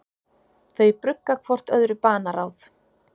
Þau brugga hvort öðru banaráð.